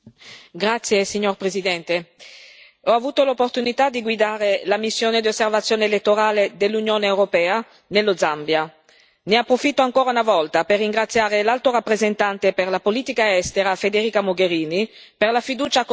Signor Presidente, onorevoli colleghi, ho avuto l'opportunità di guidare la missione di osservazione elettorale dell'Unione europea nello Zambia. Ne approfitto ancora una volta per ringraziare l'Alto rappresentante per la politica estera, Federica Mogherini, per la fiducia accordatami.